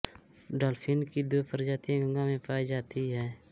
dolphin की दो प्रजातियाँ गंगा में पाई जाती हैं